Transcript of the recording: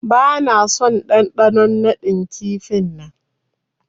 Bana son dandanon nadin kifi'n nan.